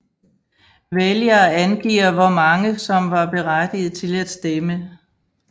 Vælgere angiver hvor mange som var berettigede til at stemme